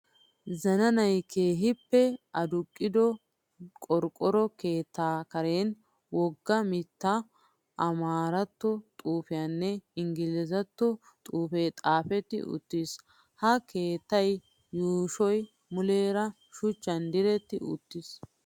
Zananayi keehippe aduqqido qorqqoro keetta karen wogga mitta amaarattuwaa xuupeenne inggilzzattuwaa xuupee xaapetti uttis. Ha keettaa yuushoyi muleera shuchchan diretti uttis.